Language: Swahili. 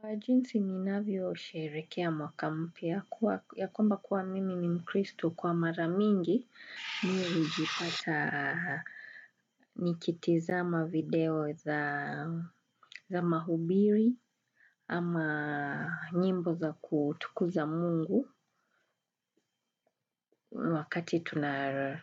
Kwa jinsi ninavyo usherehekea mwaka mpya, ya kwamba kuwa mimi ni mkristo kwa mara mingi mimi huijipata nikitazama video za mahubiri ama nyimbo za kutukuza mungu wakati